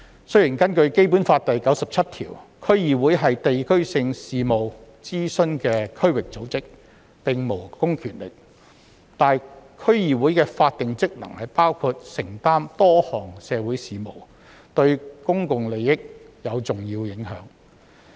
雖然根據《基本法》第九十七條，區議會是接受地區性事務的諮詢的區域組織，並無公權力，但區議會的法定職能包括承擔多項社區事務，對公眾利益有重要影響。